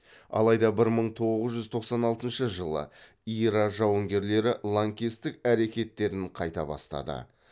алайда бір мың тоғыз жүз тоқсан алтыншы жылы ира жауынгерлері лаңкестік әрекеттерін қайта бастады